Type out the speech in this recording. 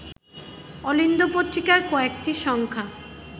অলিন্দ পত্রিকার কয়েকটি সংখ্যা